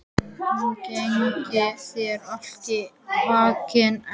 Gangi þér allt í haginn, Elba.